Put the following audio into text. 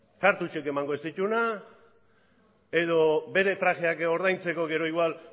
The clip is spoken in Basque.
emango ez dituena edo bere trajeak ordaintzeko gero igoal